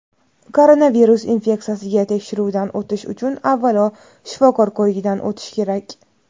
koronavirus infeksiyasiga tekshiruvdan o‘tish uchun avvalo shifokor ko‘rigidan o‘tish kerak.